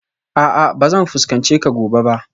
A'a ba zan fuskance ka gobe ba